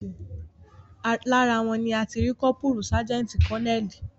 Lára wọn ni a ti rí kọ́pùrù, sájẹ́ǹtì, kọ́neẹ́ẹ̀lì